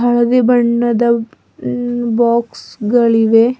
ಹಳದಿ ಬಣ್ಣದ ಹ್ಮ್ಮ್ ಬಾಕ್ಸ್ ಗಳಿವೆ.